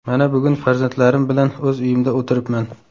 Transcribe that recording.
Mana bugun farzandlarim bilan o‘z uyimda o‘tiribman.